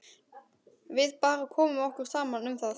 Við bara komum okkur saman um það.